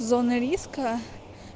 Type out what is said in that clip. зоны риска